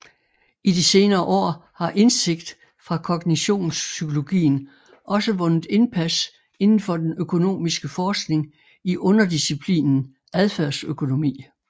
I de senere år har indsigt fra kognitionspsykologien også vundet indpas inden for den økonomiske forskning i underdisciplinen adfærdsøkonomi